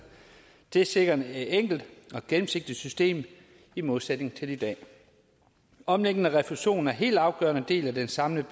det sikrer et enkelt og gennemsigtigt system i modsætning til i dag omlægning af refusionen er en helt afgørende del af den samlede